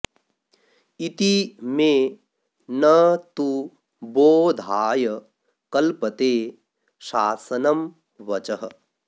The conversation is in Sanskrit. इति मे न तु बोधाय कल्पते शासनं वचः